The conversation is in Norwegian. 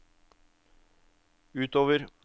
utover